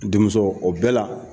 Denmuso ko o bɛɛ la